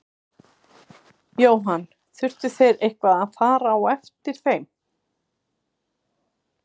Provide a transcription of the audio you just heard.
Jóhann: Þurftuð þið eitthvað að fara á eftir þeim?